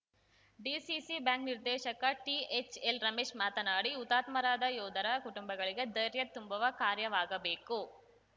DCC bank ನಿರ್ದೇಶಕ THL Ramesh ಮಾತನಾಡಿ ಹುತಾತ್ಮರಾದ ಯೋಧರ ಕುಟುಂಬಗಳಿಗೆ ಧೈರ್ಯ ತುಂಬುವ ಕಾರ್ಯವಾಗಬೇಕು